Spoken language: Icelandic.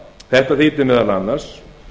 þetta þýddi meðal annars